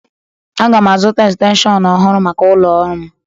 Aga m azụta extenshọñ ọhụrụ maka ụlọ ọrụ m